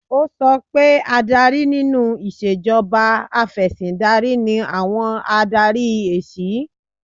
Ó sọ pé adarí nínú ìṣèjọba Afẹ̀sìndarí ni àwọn Adarí ẹ̀siy